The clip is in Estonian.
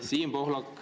Siim Pohlak.